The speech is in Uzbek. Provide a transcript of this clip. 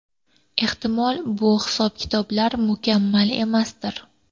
Ehtimol, bu hisob-kitoblar mukammal emasdir.